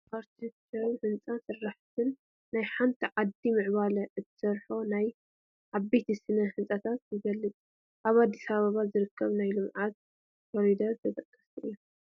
ኣርክቴክቸርን ህንፃ ስራሕን፡- ናይ ሓንቲ ዓዲ ምዕባለ ብእትሰርሖም ናይ ዓበይቲ ስነ ህንፃታት ይግለፅ፡፡ ኣብ ኣዲስ ኣበባ ዝርከቡ ናይ ልምዓት ኮሪደራት ተጠቐስቲ እዮም፡፡